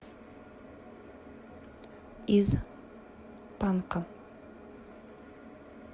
из панка